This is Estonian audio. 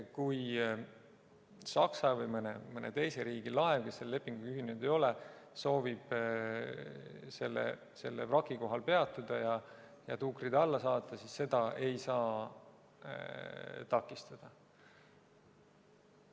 Kui näiteks Saksamaa või mõne teise riigi laev, kes selle lepinguga ühinenud ei ole, soovib selle vraki kohal peatuda ja tuukrid alla saata, siis seda ei saa takistada.